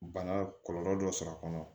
Bana kɔlɔlɔ dɔ sɔrɔ a kɔnɔ